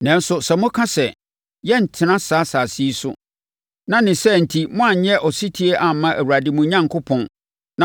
“Nanso sɛ moka sɛ, ‘Yɛrentena saa asase yi so,’ na ne saa enti moanyɛ ɔsetie amma Awurade mo Onyankopɔn,